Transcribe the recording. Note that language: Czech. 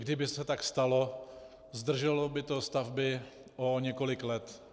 Kdyby se tak stalo, zdrželo by to stavby o několik let.